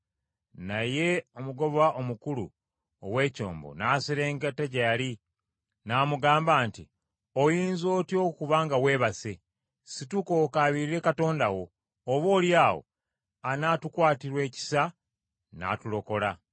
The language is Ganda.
Naye omugoba omukulu ow’ekyombo n’aserengeta gye yali n’amugamba nti, “Oyinza otya okuba nga weebase? Situka okaabirire katonda wo, oboolyawo anaatukwatirwa ekisa n’atulokola.”